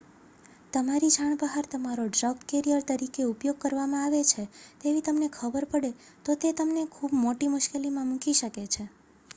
તમારી જાણ બહાર તમારો ડ્રગ કેરિયર તરીકે ઉપયોગ કરવામાં આવે છે તેવી તમને ખબર પડે તો તે તમને ખૂબ મોટી મુશ્કેલીમાં મૂકી શકે છે